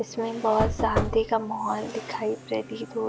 इसमें बहोत शांति का माहौल दिखाई प्रतीत हो --